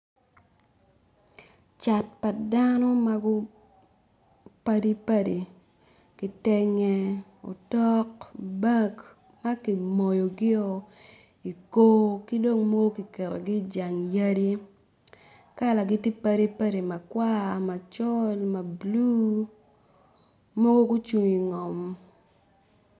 Cat pa dano mapadipadi kitenge utok bag ma ki moyogio ikor ki dong mogo ki ketogi ijang yadi kalagi ti padipadi makwa macol mabulu mogo gucung i ngom